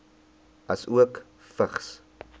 asook vigs